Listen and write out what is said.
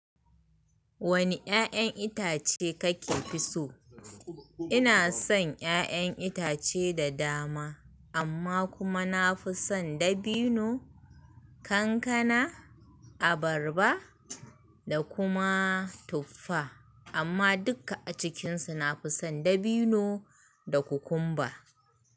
Wane 'ya'yan itace kake fi so? Ina son 'ya'yan itace da dama, amma kuma na fi son dabino, kankana, abarba da kuma tuffa. Amma duka a cikinsu na fi son dabino da kukumba.